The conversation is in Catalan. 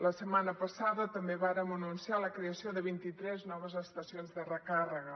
la setmana passada també vàrem anunciar la creació de vint i tres noves estacions de recàrrega